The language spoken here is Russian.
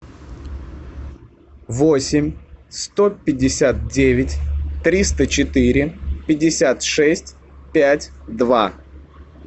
восемь сто пятьдесят девять триста четыре пятьдесят шесть пять два